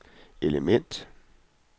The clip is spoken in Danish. element